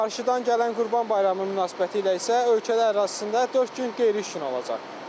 Qarşıdan gələn Qurban Bayramı münasibətilə isə ölkə ərazisində dörd gün qeyri-iş günü olacaq.